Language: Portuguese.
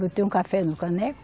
Botei um café no caneco.